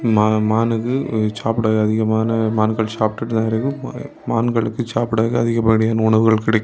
மானுக்கு சாப்பிட அதிகமான மான்கள் சாப்டுட்டுதா இருக்கு. மான்களுக்கு சாப்பிட்டதற்கு அதிகப்படியான உணவுகள் கிடை--